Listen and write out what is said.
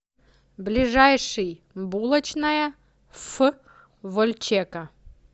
ближайший булочная ф вольчека